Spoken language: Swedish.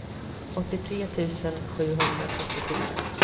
åttiotre tusen sjuhundratrettiofyra